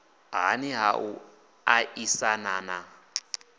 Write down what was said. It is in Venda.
nhani ha u aisana na